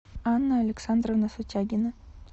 анна александровна сутягина